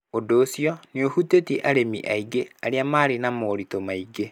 Ũndũ ũcio nĩ ũhutĩtie arĩmi aingĩ arĩa marĩ na moritũ maingĩ.